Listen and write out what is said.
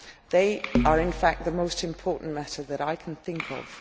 They are, in fact, the most important matter that I can think of.